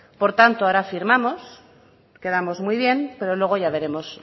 por tanto ahora firmamos quedamos muy bien pero luego ya veremos